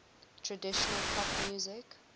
traditional pop music